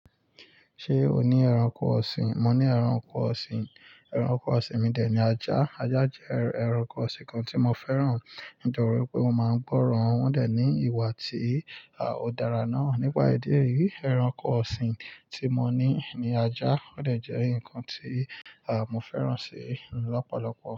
Ṣé o ní ẹranko ọ̀sìn? Mo ní ẹranko ọ̀sìn. Ẹranko ọ̀sìn mi dẹ̀ ní ajá. Ajá jẹ́ ẹranko ọ̀sìn kan tí mo fẹ́ràn. Nítorí pé mo máa ń gbọ́ran wọ́n dẹ̀ ní ìwà tí ò dára náà. Nípa èdè yìí, ẹranko ọ̀sìn tí mo ní ní ajá, ọ̀dẹ̀ jẹ́ nǹkan tí mo fẹ́ràn ṣe lọ́pọ̀lọpọ̀